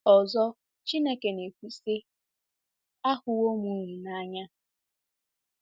Ọzọ, Chineke na-ekwu si, Ahụwo m unu n’anya.